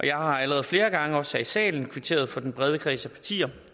jeg har allerede flere gange også her i salen kvitteret for den brede kreds af partier